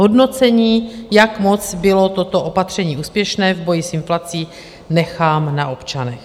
Hodnocení, jak moc bylo toto opatření úspěšné v boji s inflací, nechám na občanech.